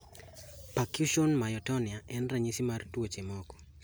Percussion myotonia en ranyisi mar tuoche moko